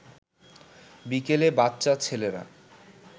বিকেলে বাচ্চা ছেলেরা